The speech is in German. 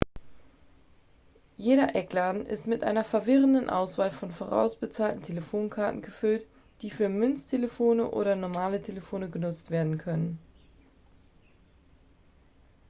jeder eckladen ist mit einer verwirrenden auswahl von vorausbezahlten telefonkarten gefüllt die für münztelefone oder normale telefone genutzt werden können